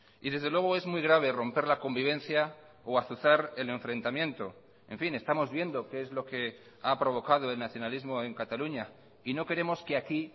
y desde luego es muy grave romper la convivencia o azuzar el enfrentamiento en fin estamos viendo qué es lo que ha provocado el nacionalismo en cataluña y no queremos que aquí